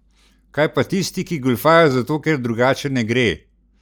Kaj pa tisti, ki goljufajo zato, ker drugače ne gre?